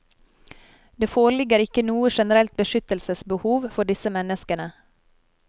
Det foreligger ikke noe generelt beskyttelsesbehov for disse menneskene.